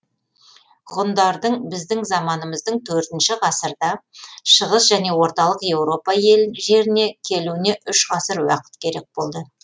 ғұндардың біздің заманымыздың төртінші ғасырда шығыс және орталық еуропа жеріне келуіне үш ғасыр уақыт керек болды